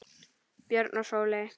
Björn og Sóley.